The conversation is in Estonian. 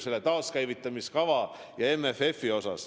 Ma pean silmas ka taaskäivitamiskava ja MFF-i.